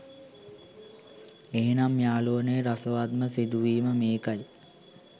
එහෙමනම් යාළුවනේ රසවත්ම සිදුවීම මේකයි